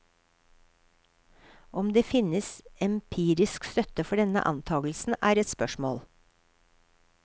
Om det finnes empirisk støtte for denne antagelsen, er ett spørsmål.